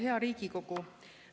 Hea Riigikogu!